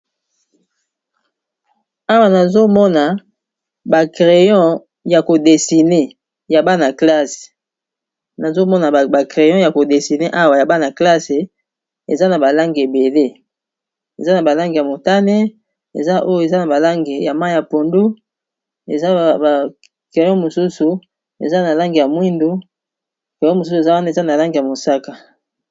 Awa anazomona ba creyon ya ko desine awa ya bana classe eza na balange ebele eza na balange ya motane ,eza oyo eza na balange ya mai ya pondu, ezana ba crayo mosusu eza na lange ya mwindu, cyo mosusu eza wana eza na lange ya mosaka.